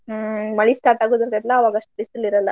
ಹ್ಮ್ ಮಳಿ start ಆಗ್ರ್ತೇತಲ್ಲಾ ಅವಾಗಷ್ಟ್ ಬಿಸ್ಲ್ ಇರಲ್ಲಾ.